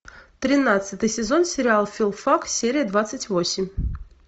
тринадцатый сезон сериал филфак серия двадцать восемь